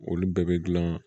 Olu bɛɛ bɛ gilan